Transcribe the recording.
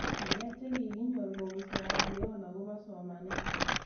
Ng'alek che kikinyor kopun sierra leon akopo somanet